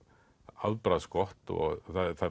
afbragðsgott og